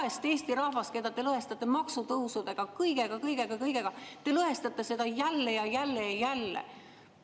Seda vaest Eesti rahvast, keda te lõhestate maksutõusudega, kõigega, kõigega, kõigega, te lõhestate jälle ja jälle ja jälle.